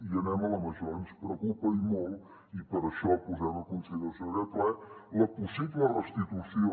i anem a la major ens preocupa i molt i per això posem a consideració d’aquest ple la possible restitució